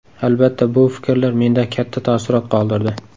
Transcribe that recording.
Albatta, bu fikrlar menda katta taassurot qoldirdi.